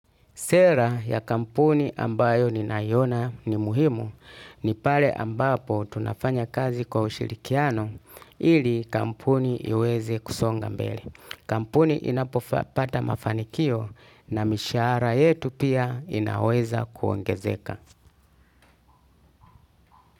Sera ya kampuni ambayo ni nayona ni muhimu ni pale ambapo tunafanya kazi kwa ushirikiano ili kampuni iweze kusonga mbele. Kampuni inapopata mafanikio na mishahara yetu pia inaweza kuongezeka.